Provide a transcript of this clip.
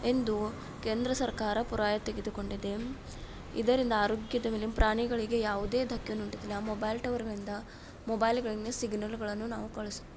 ಎಂದು ಕೇಂದ್ರ ಸರ್ಕಾರ ಪುರಾಯ ತೆಗೆದುಕೊಂಡಿದೆ ಇದರಿಂದ ಆರೋಗ್ಯದ ಮೇಲೆ ಪ್ರಾಣಿಗಳು ಯಾವು ಧಕ್ಕೆ ತರುವುದಿಲ್ಲ ಮೊಬೈಲ್ ಟವರ್ಗಳಿಂದ ಮೊಬೈಲ್ ಗಳ ನಿಂದ ಸಿಗ್ನಲ್ ಅನ್ನು ನಾವು ಕಲಿಸುತ್ತ --